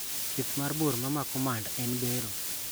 Thieth mar bur mamako mand en bero.